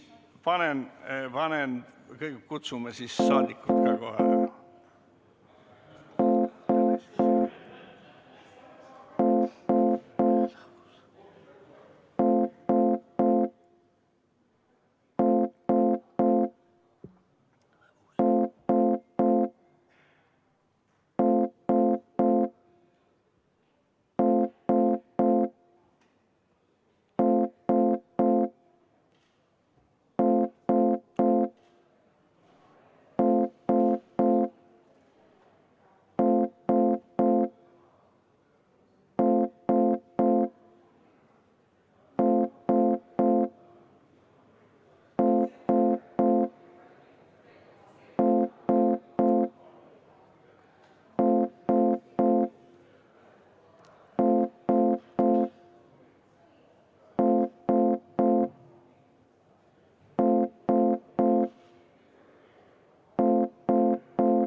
Kõigepealt kutsun siis saadikud ka kohale.